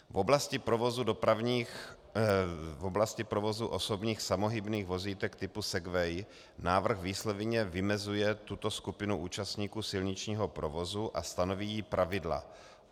V oblasti provozu osobních samohybných vozítek typu segway návrh výslovně vymezuje tuto skupinu účastníků silničního provozu a stanoví jí pravidla.